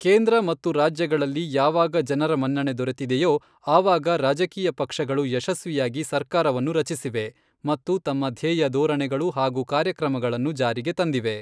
ಕೇಂದ್ರ ಮತ್ತು ರಾಜ್ಯಗಳಲ್ಲಿ ಯಾವಾಗ ಜನರ ಮನ್ನಣೆ ದೊರೆತಿದೆಯೋ ಆವಾಗ ರಾಜಕೀಯ ಪಕ್ಷಗಳು ಯಶಸ್ವಿಯಾಗಿ ಸರ್ಕಾರವನ್ನು ರಚಿಸಿವೆ ಮತ್ತು ತಮ್ಮ ಧ್ಯೇಯ ಧೋರಣೆಗಳು ಹಾಗೂ ಕಾರ್ಯಕ್ರಮಗಳನ್ನು ಜಾರಿಗೆ ತಂದಿವೆ.